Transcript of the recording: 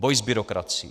Boj s byrokracií.